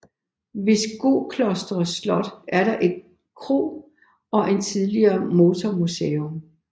Ved Skoklosters slot er der en kro og tidligere et motormuseum